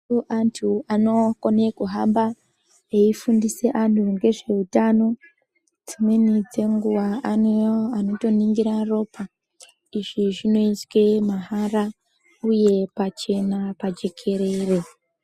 Antu anokone kuhamba eifundisa antu ngezveutano. Dzimweni dzenguva ane anotoningira ropa. Izvi zvinoizwe mahara uye pachena pajekerere.